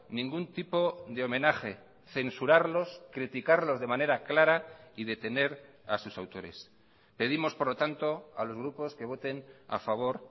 ningún tipo de homenaje censurarlos criticarlos de manera clara y detener a sus autores pedimos por lo tanto a los grupos que voten a favor